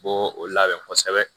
U b'o labɛn kosɛbɛ